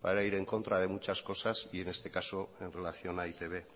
para ir en contra de muchas cosas y en este caso en relación a e i te be